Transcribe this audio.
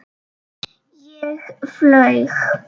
Ég flaug.